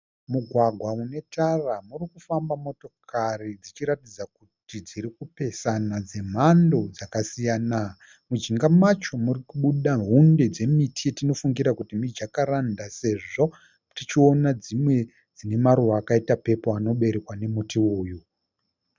Mugwagwa une tara urikufamba motokari dzichiratidza kuti dzirikupesana dzemhando dzakasiyana. Mujinga macho muri kubuda hunde dzemiti tinofungira kuti mijakaranda sezvo tichiona dzimwe dzine maruva akaita pepuru anoberekwa nemuti uwoyu.